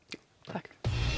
takk